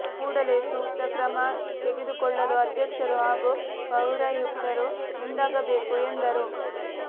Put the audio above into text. ಕೂಡಲೇ ಸೂಕ್ತ ಕ್ರಮ ತೆಗೆದುಕೊಳ್ಳಲು ಅಧ್ಯಕ್ಷರು ಹಾಗೂ ಪೌರಾಯುಕ್ತರು ಮುಂದಾಗಬೇಕು ಎಂದರು